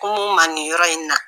Ko n'u ma nin yɔrɔ in na